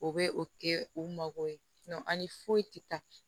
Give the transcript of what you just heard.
O bɛ o kɛ u mago ye ani foyi tɛ taa